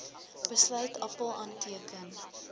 besluit appèl aanteken